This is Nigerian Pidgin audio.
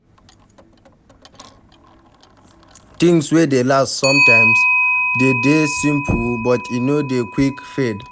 Things wey dey last sometimes de dey simple but e no dey quick fade